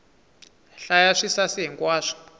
hlaya swisasi hi nkwaswo